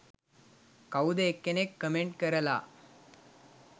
කවුද එක්කෙනෙක් කමෙන්ට් කරලා